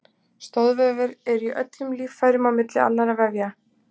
Stoðvefir eru í öllum líffærum á milli annarra vefja.